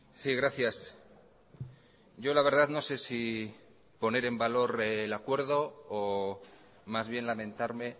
sí gracias yo la verdad no sé si poner en valor el acuerdo o más bien lamentarme